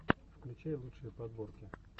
включай лучшие подборки